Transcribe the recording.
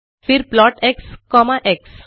फिर plot x comma x